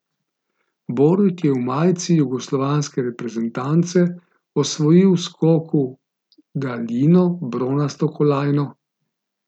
Borut je v majici jugoslovanske reprezentance osvojil v skoku v daljino bronasto kolajno.